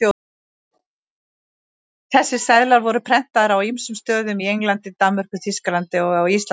Þessir seðlar voru prentaðir á ýmsum stöðum, í Englandi, Danmörku, Þýskalandi og á Íslandi.